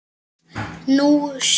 Nú sé